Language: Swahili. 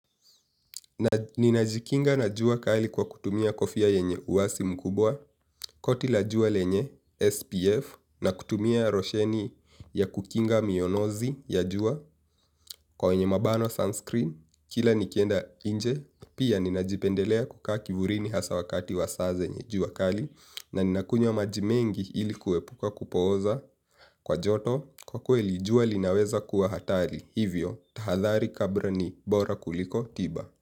Na ninajikinga na jua kali kwa kutumia kofia yenye uwasi mkubwa koti la jua lenye SPF na kutumia rosheni ya kukinga mionozi ya jua kwa yenye mabano sunscreen kila nikienda inje pia ninajipendelea kukaa kivurini hasa wakati wasa zenye jua kali na nina kunywa majimengi ilikuwe puka kupoza kwa joto kwa kweli jua linaweza kuwa hatari hivyo tahathari kabra ni bora kuliko tiba.